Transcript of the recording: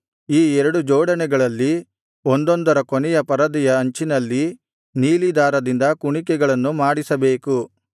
ಈ ಎರಡು ಜೋಡಣೆಗಳಲ್ಲಿ ಒಂದೊಂದರ ಕೊನೆಯ ಪರದೆಯ ಅಂಚಿನಲ್ಲಿ ನೀಲಿ ದಾರದಿಂದ ಕುಣಿಕೆಗಳನ್ನು ಮಾಡಿಸಬೇಕು